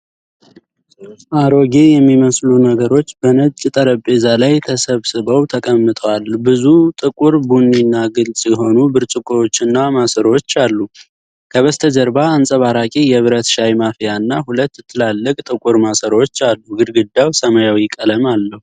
አሮጌ የሚመስሉ ነገሮች በነጭ ጠረጴዛ ላይ ተሰብስበው ተቀምጠዋል። ብዙ ጥቁር፣ ቡኒና ግልፅ የሆኑ ብርጭቆዎችና ማሰሮዎች አሉ። ከበስተጀርባ አንጸባራቂ የብረት ሻይ ማፍያና ሁለት ትላልቅ ጥቁር ማሰሮዎች አሉ። ግድግዳው ሰማያዊ ቀለም አለው።